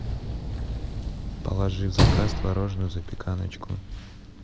положи в заказ творожную запеканочку